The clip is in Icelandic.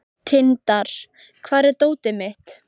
Kort (mannsnafn), hvaða stoppistöð er næst mér?